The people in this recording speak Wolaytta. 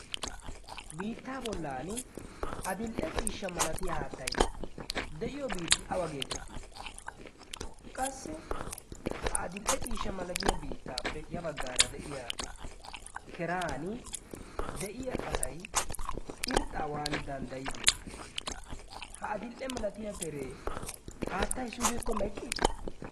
biittaa bollan adil'e ciishsha malatiyaa haattai de'iyo biitti bawa geetettii qassi ha adil'e ciishsha malatiya biittaappe ya baggaara de'iya keran de'iya asay irxxaawan danddayidee ha adil'e malatiya teree haattay giikko meqqiis